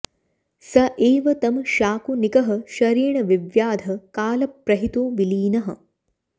स एव तं शाकुनिकः शरेण विव्याध कालप्रहितो विलीनः